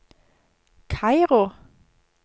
Kairo